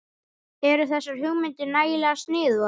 Eru þessar hugmyndir nægilega sniðugar?